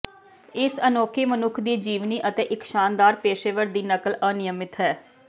ਇਸ ਅਨੋਖੀ ਮਨੁੱਖ ਦੀ ਜੀਵਨੀ ਅਤੇ ਇਕ ਸ਼ਾਨਦਾਰ ਪੇਸ਼ੇਵਰ ਦੀ ਨਕਲ ਅਨਿਯਮਤ ਹੈ